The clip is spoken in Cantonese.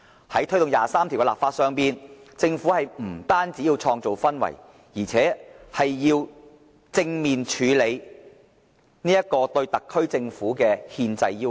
在推動第二十三條的立法上，政府不單要創造氛圍，而且要正面處理這個對特區政府的憲制要求。